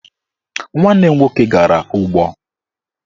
Nwanne m nwoke gara ụgbọ